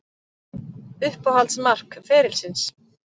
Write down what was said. Uppáhalds mark ferilsins?